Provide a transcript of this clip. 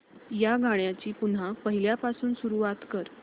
या गाण्या ची पुन्हा पहिल्यापासून सुरुवात कर